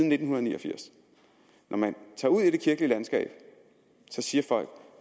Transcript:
nitten ni og firs når man tager ud i det kirkelige landskab siger folk